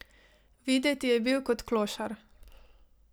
Videti je bil kot klošar.